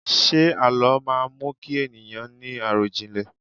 Ṣé àlọ́ má mú kí ènìyàn ni arọjinlẹ?